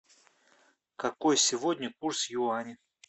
какой сегодня курс юаней